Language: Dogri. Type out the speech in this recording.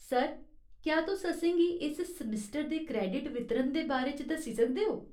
सर, क्या तुस असेंगी इस सेमेस्टर दे क्रेडिट वितरण दे बारे च दस्सी सकदे ओ ?